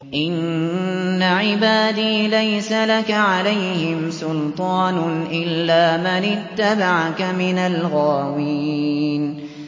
إِنَّ عِبَادِي لَيْسَ لَكَ عَلَيْهِمْ سُلْطَانٌ إِلَّا مَنِ اتَّبَعَكَ مِنَ الْغَاوِينَ